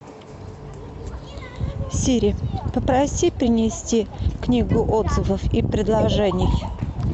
сири попроси принести книгу отзывов и предложений